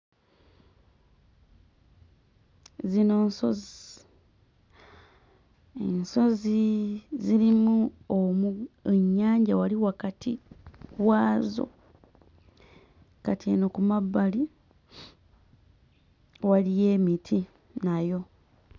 Zino nsozi ensozi zirimu omu ennyanja wali wakati waazo kati eno ku mabbali waliyo emiti nayo.